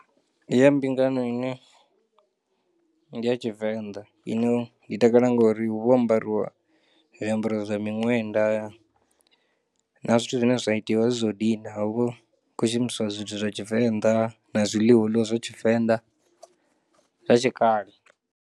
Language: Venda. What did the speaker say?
Ndi ya mbingano ine ndi ya tshivenḓa ine ndi takala ngori hu vha ho ambariwa zwiambaro zwa miṅwenda na zwithu zwine zwa itiwa asi zwithu zwo dina hu vha hu khou shumiswa zwithu zwa tshivenḓa na zwiḽiwa huḽiwa zwa tshivenḓa zwa tshikale.